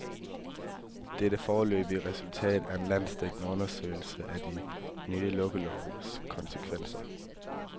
Det er det foreløbige resultat af en landsdækkende undersøgelse af den nye lukkelovs konsekvenser.